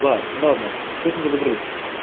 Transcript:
так ладно с этим разобрались